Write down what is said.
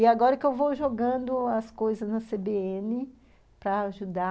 E agora que eu vou jogando as coisas na cê bê ene para ajudar.